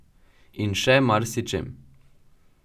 In še marsičem.